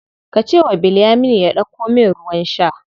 Ka ce wa Bilyaminu ya ɗauko min ruwan sha.